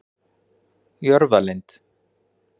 Jörfalind